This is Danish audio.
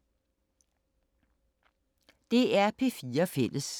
DR P4 Fælles